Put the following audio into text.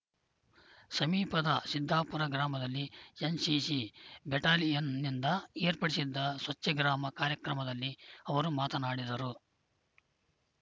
ಸಮೀಪದ ಸಿದ್ದಾಪುರ ಗ್ರಾಮದಲ್ಲಿ ಎನ್‌ಸಿಸಿ ಬೆಟಾಲಿಯನ್‌ನಿಂದ ಏರ್ಪಡಿಸಿದ್ದ ಸ್ವಚ್ಛಗ್ರಾಮ ಕಾಯಕ್ರಮದಲ್ಲಿ ಅವರು ಮಾತನಾಡಿದರು